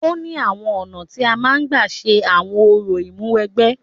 Ó ní àwọn ọ̀nà tí a máa ń gbà ṣe àwọn orò ìmúwẹgbẹ́.